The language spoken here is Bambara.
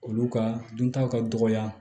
Olu ka duntaw ka dɔgɔ